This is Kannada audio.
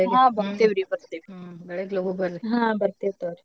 ಹಾ ಬರ್ತೆವ್ರೀ ಬರ್ತೇವೀ ಹ್ಮ್ ಬರ್ತೇವ್ ತಗೋರೀ.